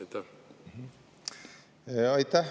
Aitäh!